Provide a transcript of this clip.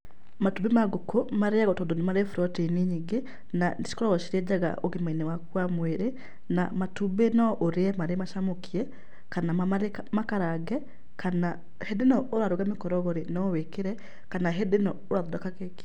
Matumbĩ ma ngũkũ marĩagwo tondũ nĩ bũrotĩini nyingĩ, na nĩ cikoragwo cirĩ njega ũgima-inĩ waku wa mwĩrĩ, na matumbĩ no ũrĩe marĩ macamũkie, kana marĩ makarange, kana hĩndĩ ĩno ũraruga mĩkorogo rĩ, no wĩkĩre kana hĩndĩ ĩno ũrathondeka keki.